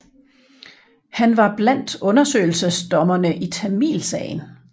Han var blandt undersøgelsesdommerne i Tamilsagen